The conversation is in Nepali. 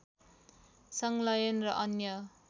संलयन र अन्य